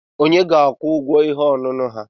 Kedu onye ga-akwụ ụgwọ ihe ọṅụṅụ ha?